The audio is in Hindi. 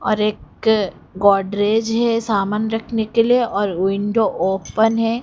और एक गोदरेज है सामान रखने के लिए और विंडो ओपन है।